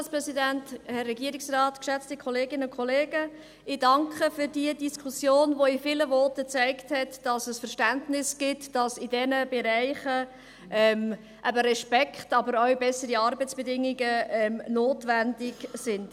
Ich danke für die Diskussion, die in vielen Voten gezeigt hat, dass es Verständnis gibt, dass in diesen Bereichen eben Respekt, aber auch bessere Arbeitsbedingungen notwendig sind.